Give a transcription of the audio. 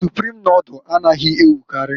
Suprim nodul anaghị ewukarị.